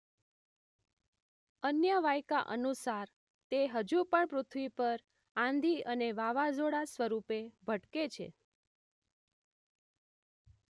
અન્ય વાયકા અનુસાર તે હજું પણ પૃથ્વી પર આંધી અને વાવાઝોડાં સ્વરૂપે ભટકે છે